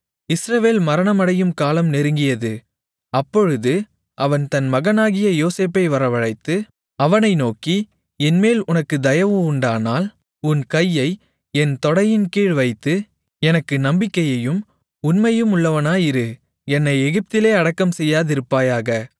இஸ்ரவேல் மரணமடையும் காலம் நெருங்கியது அப்பொழுது அவன் தன் மகனாகிய யோசேப்பை வரவழைத்து அவனை நோக்கி என்மேல் உனக்குத் தயவுண்டானால் உன் கையை என் தொடையின்கீழ் வைத்து எனக்கு நம்பிக்கையும் உண்மையுமுள்ளவனாயிரு என்னை எகிப்திலே அடக்கம் செய்யாதிருப்பாயாக